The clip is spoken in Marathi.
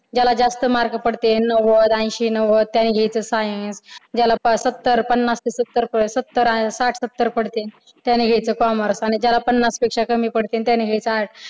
ज्याला जास्त mark पडतील नव्वद ऐंशी-नव्वद त्यानघायचं science ज्यांना सत्तर पन्नास सत्तर साठ सत्तर पडतील त्याने घ्यायच commerce आणि ज्यांला पन्नासपेक्षा कमी पडतील त्यांन घ्यायच arts